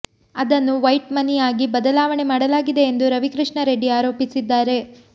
ಅದನ್ನು ವೈಟ್ ಮನಿಯಾಗಿ ಬದಲಾವಣೆ ಮಾಡಲಾಗಿದೆ ಎಂದು ರವಿಕೃಷ್ಣಾ ರೆಡ್ಡಿ ಆರೋಪಿಸಿದ್ದಾರೆ